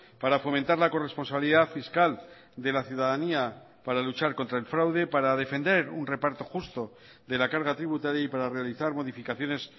para fomentar la corresponsabilidad fiscal de la ciudadanía para luchar contra el fraude para defender un reparto justo de la carga tributaria y para realizar modificaciones